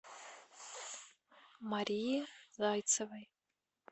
марии зайцевой